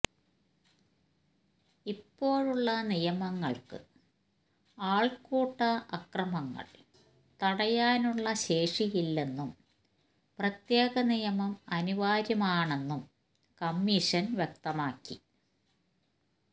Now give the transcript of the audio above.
ഇപ്പോഴുള്ള നിയമങ്ങൾക്ക് ആൾക്കൂട്ട അക്രമങ്ങൾ തടയാനുള്ള ശേഷിയില്ലെന്നും പ്രത്യേക നിയമം അനിവാര്യമാണെന്നും കമ്മീഷൻ വ്യക്തമാക്കി